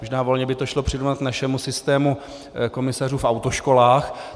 Možná volně by to šlo přirovnat našemu systému komisařů v autoškolách.